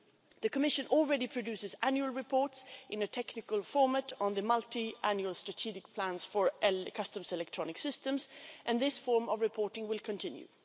The Commission already produces annual reports in a technical format on the multiannual strategic plans for customs electronic systems and this form of reporting will continue.